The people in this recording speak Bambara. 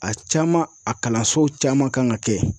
A caman a kalansow caman kan ka kɛ